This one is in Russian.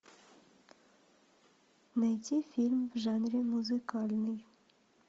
найти фильм в жанре музыкальный